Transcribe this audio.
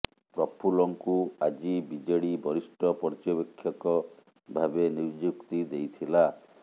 ପ୍ରଫୁଲ୍ଲଙ୍କୁ ଆଜି ବିଜେଡି ବରିଷ୍ଠ ପର୍ଯ୍ୟବେକ୍ଷକ ଭାବେ ନିଯୁକ୍ତି ଦେଇଥିଲା